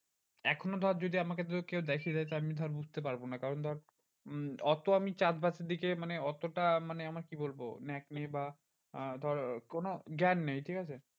এখনো ধর যদি আমাকে যদি কেউ দেখিয়ে দেয় আমি ধর বুঝতে পারবো না কারণ ধর উম অত আমি চাষ বাসের দিকে মানে অতটা মানে আমার কি বলবো ন্যাক নেই বা আহ ধর কোনো জ্ঞান নেই ঠিকাছে?